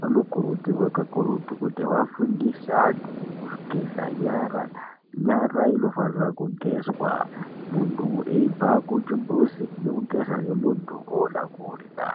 vanokurudzirwa kakurutu kuti vafundise antu kugeza nyara. Nyara inofanira kugezwa muntu echibva kuchimbuzinekugeza muntu oda kudla.